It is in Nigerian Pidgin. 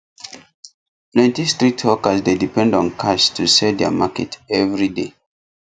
plenty street hawkers dey depend on cash to sell their market every day